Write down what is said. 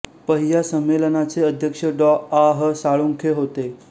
पहि्या संमेलनाचे अध्यक्ष डॉं आ ह साळुंखे होते